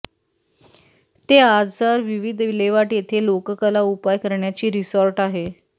ते आजार विविध विल्हेवाट येथे लोककला उपाय करण्याची रिसॉर्ट आहे